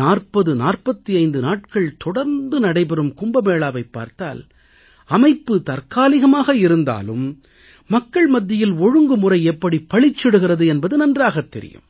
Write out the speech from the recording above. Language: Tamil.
4045 நாட்கள் தொடர்ந்து நடைபெறும் கும்பமேளாவைப் பார்த்தால் அமைப்பு தற்காலிகமாக இருந்தாலும் மக்கள் மத்தியில் ஒழுங்குமுறை எப்படிப் பளிச்சிடுகிறது என்பது நன்றாகத் தெரியும்